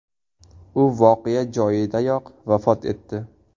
U voqea joyidayoq vafot etdi.